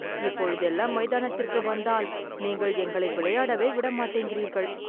இப்பொழுதெல்லாம் மைதானத்திற்கு வந்தால் நீங்கள் எங்களை விளையாடவே விட மாட்டேங்கிறீர்கள்